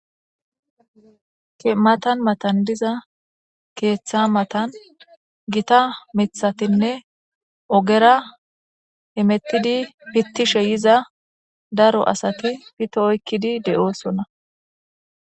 matan matan diza keeththa matan gita mithatinne ogera himettidi pittishe yiza daro asati pitto oykkidi de'oosona